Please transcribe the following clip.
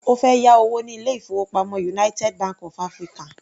Ó fẹ́ yá owó ní ilé-ìfowópamọ́ United Bank of African.